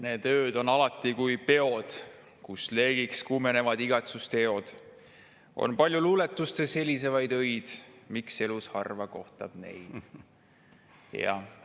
Need ööd on alati kui peod, / kus leegiks kuumenevad igatsuste eod .../ On palju luuletustes helisevaid öid –/ miks elus harva kohtab neid?